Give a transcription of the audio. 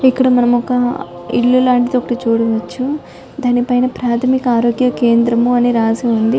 ఇక్కడ మనం ఒక ఇల్లు లాంటిది చూడవచ్చును దానిపైన ప్రాథమిక ఆరోగ్య కేంద్రం అని రాసి ఉంది